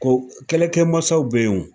Ko kɛlɛkɛ mansaw bɛ yen o.